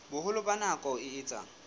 boholo ba nako e etsang